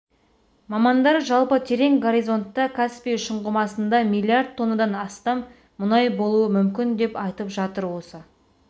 мамандар жалпы терең горизонтта каспий шұңғымасында миллиард тоннадан астам мұнай болуы мүмкін деп айтып жатыр осы